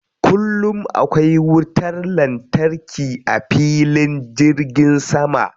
Kullum akwai wutar lantarki a filin jirgin sama.